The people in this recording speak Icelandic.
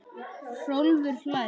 Hrólfur hlær.